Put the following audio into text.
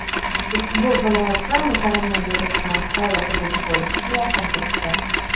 Ushbu viloyat ham koronavirusdan xoli hudud bo‘lishga yaqin turibdi.